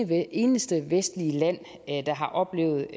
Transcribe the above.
det eneste vestlige land der har oplevet